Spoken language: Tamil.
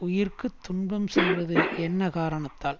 உயிர்க்கு துன்பம் செய்வது என்ன காரணத்தால்